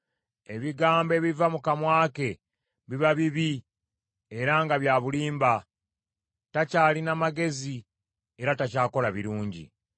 Ebigambo ebiva mu kamwa ke biba bibi era nga bya bulimba; takyalina magezi era takyakola birungi.